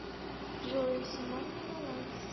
джой суммарный баланс